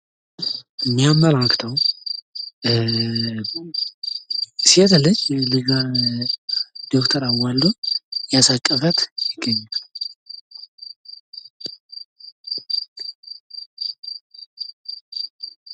የሚያመላክተው ሴት ልጅ ልጇን ዶክተር አዋልዶ እያሳቀፋት ይገኛል።